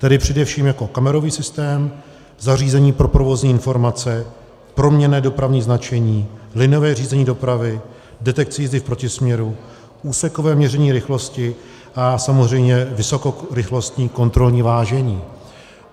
Tedy především jako kamerový systém, zařízení pro provozní informace, proměnné dopravní značení, liniové řízení dopravy, detekci jízdy v protisměru, úsekové měření rychlosti a samozřejmě vysokorychlostní kontrolní vážení.